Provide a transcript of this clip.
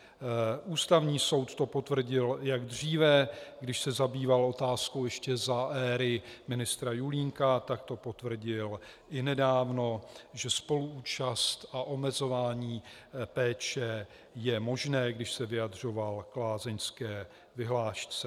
Ústavní soud to potvrdil již dříve, když se zabýval otázkou ještě za éry ministra Julínka, tak to potvrdil i nedávno, že spoluúčast a omezování péče jsou možné, když se vyjadřoval k lázeňské vyhlášce.